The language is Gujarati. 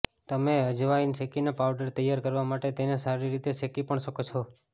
તમે અજવાઈન શેકીને પાઉડર તૈયાર કરવા માટે તેને સારી રીતે શેકી પણ શકો છો